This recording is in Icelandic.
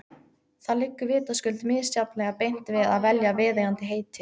Það liggur vitaskuld misjafnlega beint við að velja viðeigandi heiti.